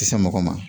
Kisɛ mɔgɔ ma